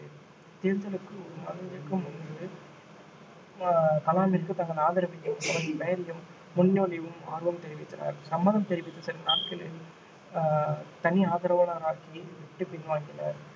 தேர்தலுக்கு ஒரு மாதத்திற்கு முன்பு ஆஹ் கலாமிற்கு தங்கள் ஆதரவையும் அவரின் பெயரையும் முன்மொழியவும் ஆர்வம் தெரிவித்தனர் சம்மதம் தெரிவித்த சில நாட்களில் ஆஹ் தனி ஆதரவாளராக்கி விட்டு பின்வாங்கினர்